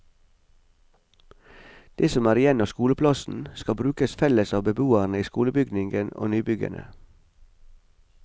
Det som er igjen av skoleplassen, skal brukes felles av beboerne i skolebygningen og nybyggene.